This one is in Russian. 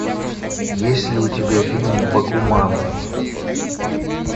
есть ли у тебя фильм бакуман